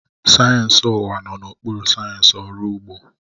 Sayensị ụwa nọ n'okpuru sayensị ọrụ ugbo